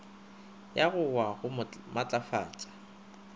ya go wa go matlafatša